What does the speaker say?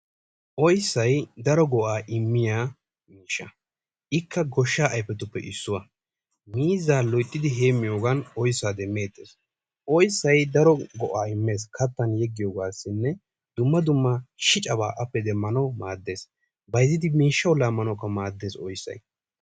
Oyssay daro go'aa immiyaa miishsha ishsha ayfetuppe issuwaa miizzaa loyittidi heemmiyoogan oyissa demmeettes oyssay daro go'aa immes kattan yeggiyoogaasinne dumma dumma shicabaa appe demmanawu maaddes bayzetti mishaa demanawukka maaddes.